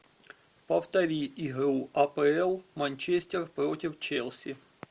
повтори игру апл манчестер против челси